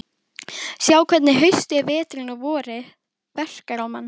Sjá hvernig haustið, veturinn og vorið verkar á mann.